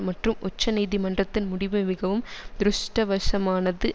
மற்றும் உச்ச நீதிமன்றத்தின் முடிவு மிகவும் த்ருஷ்டவசமானது